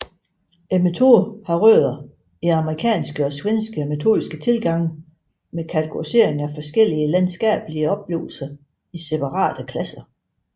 Metoden har rødder i amerikanske og svenske metodiske tilgange med kategorisering af forskellige landskabelige oplevelser i separate klasser